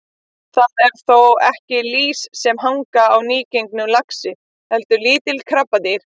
Það eru þó ekki lýs sem hanga á nýgengnum laxi heldur lítil krabbadýr.